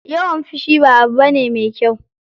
Yawan fushi ba abu bane mai kyau.